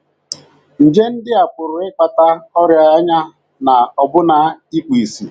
Nje ndị a pụrụ ịkpata ọrịa anya na ọbụna ikpu ìsì.